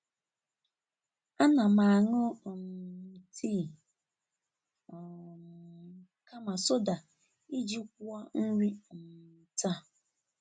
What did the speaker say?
A na m aṅụ um tii um kama soda iji kwụọ nri um taa.